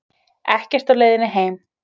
Ekkert á leiðinni heim